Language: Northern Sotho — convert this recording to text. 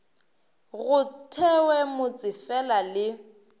go thewe motse fela le